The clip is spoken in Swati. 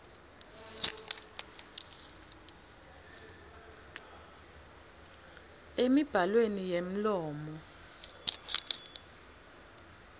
emibhalweni yemlomo sib